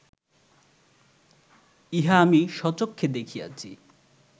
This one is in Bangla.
ইহা আমি স্বচক্ষে দেখিয়াছি